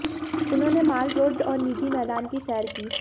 उन्होंने Mall Road और Ridge मैदान की सैर की